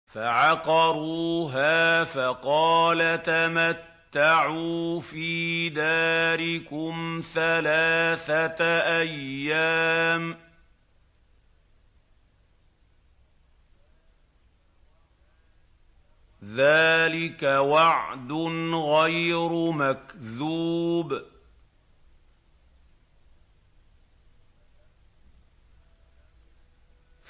فَعَقَرُوهَا فَقَالَ تَمَتَّعُوا فِي دَارِكُمْ ثَلَاثَةَ أَيَّامٍ ۖ ذَٰلِكَ وَعْدٌ غَيْرُ مَكْذُوبٍ